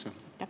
Aitäh!